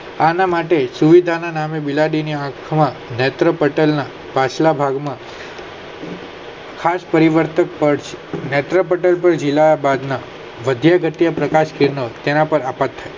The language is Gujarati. આના માટે જુવડાન નામ બિલાડી ના આંખ ના નેત્રપટલ ના પાછલા ભાગ માં ખાસ પરિવર્ત નેત્રપટલ ના તેના પર અટકશે